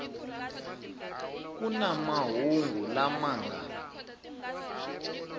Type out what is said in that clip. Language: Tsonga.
ku na mahungu lama nga